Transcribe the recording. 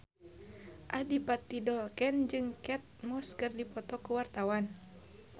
Adipati Dolken jeung Kate Moss keur dipoto ku wartawan